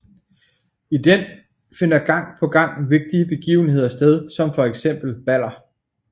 I den finder gang på gang vigtige begivenheder sted som for eksempel baller